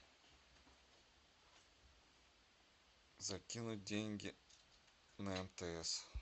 закинуть деньги на мтс